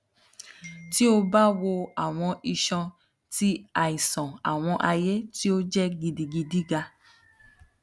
ti o ba wo awọn iṣan ti aisan awọn aye ti o jẹ gidigidi ga